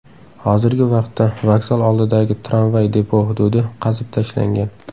Hozirgi vaqtda vokzal oldidagi tramvay depo hududi qazib tashlangan.